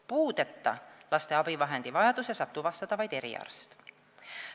Puudeta laste abivahendivajaduse saab tuvastada vaid eriarst.